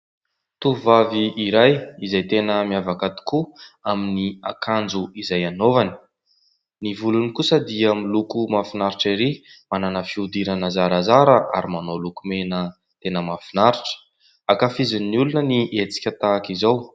Tovovavy anankiray izay tena miavaka tokoa amin'ny akanjo izay anaovany. Ny volony kosa dia miloko mahafinaritra erỳ. Manana fihodirana zarazara ary manao lokomena tena mahafinaritra. Ankafizin'ny olona ny hetsika tahaka izao.